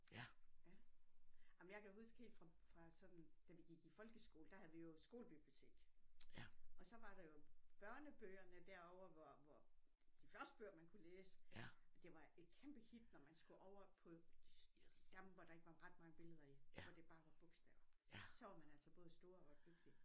Jamen jeg kan huske helt fra fra sådan da vi gik i folkeskole der havde vi jo skolebibliotek og så var der jo børnebøgerne derovre hvor hvor de første bøger man kunne læse det var et kæmpe hit når man skulle over på jamen hvor der ikke var ret mange billeder i hvor det bare var bogstaver så var man altså både stor og dygtig